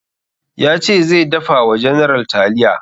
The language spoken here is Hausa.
Ya ce zai dafa wa general taliya